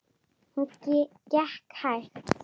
Hún gekk hægt.